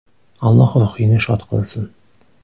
Alloh ruhingni shod qilsin.